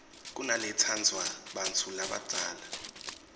kunaletsandvwa bantfu labadzala